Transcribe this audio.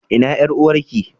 Ina yar uwarki?